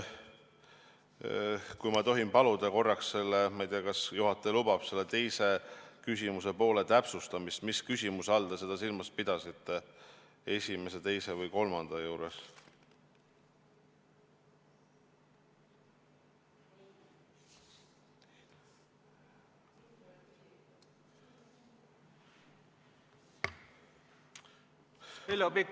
Kui ma tohin paluda korraks, ma ei tea, kas juhataja lubab, selle küsimuse teise poole täpsustamist, mis küsimust te silmas pidasite, esimest, teist või kolmandat?